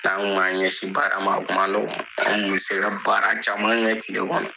N'an kun m'an ɲɛsin baara ma a kuma nɔgɔ anw kun be se ka baara caman kɛ kile kɔnɔ